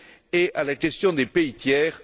et à la question des pays tiers.